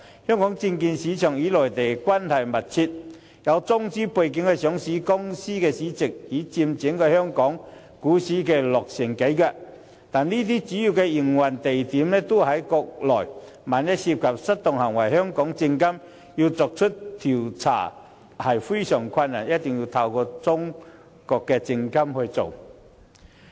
香港證券市場與內地關係密切，有中資背景的上市公司市值已佔整體香港股市超過六成，但這些公司的主要營運地點均在國內，萬一涉及失當行為，香港證監會很難調查，必須透過中國證監會處理。